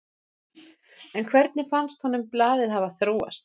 En hvernig finnst honum blaðið hafa þróast?